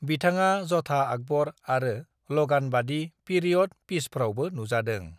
बिथाङा ज'धा आकबर आरो लगानबादि पीरियड पीसफ्रावबो नुजादों।